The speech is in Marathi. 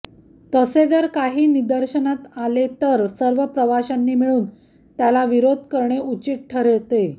तसे जर काही निदर्शनास आले तर सर्व प्रवाशांनी मिळून त्याला विरोध करणे उचित ठरते